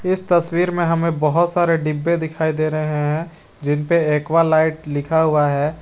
इस तस्वीर में हमें बहोत सारे डिबे दिखाई दे रहे हैं जिनपे एक्वालाइट लिखा हुआ है।